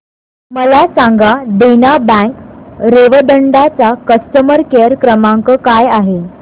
मला सांगा देना बँक रेवदंडा चा कस्टमर केअर क्रमांक काय आहे